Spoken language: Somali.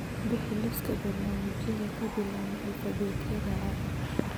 Bixi liisaska barnaamijyada ka bilaabma alifbeetada a